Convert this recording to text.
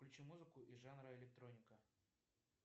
включи музыку из жанра электроника